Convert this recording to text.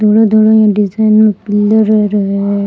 धोलो धोलो ई डिज़ाइना है।